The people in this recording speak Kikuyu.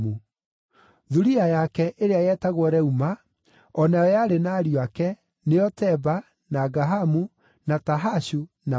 Thuriya yake, ĩrĩa yetagwo Reuma, o nayo yarĩ na ariũ ake, nĩo Teba, na Gahamu, na Tahashu na Maaka.